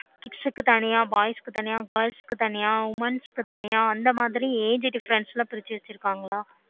kids தனியா boys தனியா girls தனியா women தனியா அந்த மாதிரி age difference